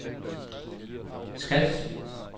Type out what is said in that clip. Skads